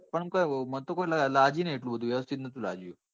પણ કોય મને તો કોઈ લજ્યું નઈ વ્યવ્સ્તીત નતું લજ્યું.